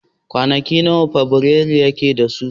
Kwanaki nawa watan fabirairu yake da su?